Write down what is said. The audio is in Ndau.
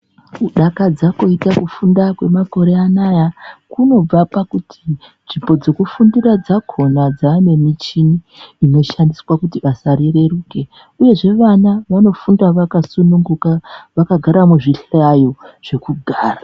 Kudakadza koita kufunda kwemakore anaya kunobva pakuti nzvimbo dzokufundira dzakona dzaanemichini inoshandiswa kuti basa rireruke. Uyezve vana vanofunda vakasununguka vakagara muzvihlayo zvekugara.